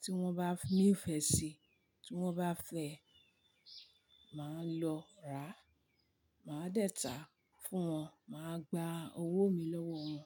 tí wọ́n bá ní ìfẹ sí i, tí wọ́n bá fẹ́ ẹ, màá lọ ra, màá dẹ̀ tàá fún wọn, màá gba owó mi lọ́wọ́ wọn.